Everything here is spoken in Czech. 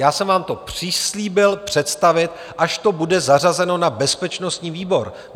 Já jsem vám to přislíbil představit, až to bude zařazeno na bezpečnostní výbor.